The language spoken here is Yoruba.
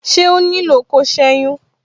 Ṣé ó nílò ko seyin?